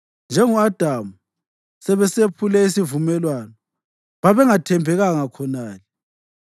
Njengo-Adamu, sebesephule isivumelwano babengathembekanga khonale.